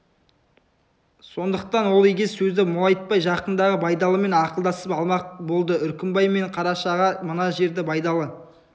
сондықтан ол егес сөзді молайтпай жақындағы байдалымен ақылдасып алмақ болды үркімбай мен қарашаға мына жерде байдалы